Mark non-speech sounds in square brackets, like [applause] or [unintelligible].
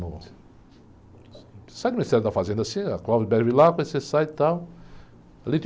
Você sai do Ministério da Fazenda assim, [unintelligible] você sai e tal.